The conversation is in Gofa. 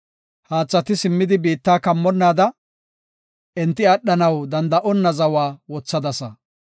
Haathati simmidi biitta kammonnaada, enti aadhanaw danda7onna zawa wothadasa.